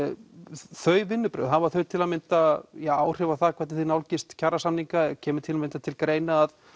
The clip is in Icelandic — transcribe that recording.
þau vinnubrögð hafa þau til að mynda áhrif á hvernig þið nálgist kjarasamninga og kemur til að mynda til greina að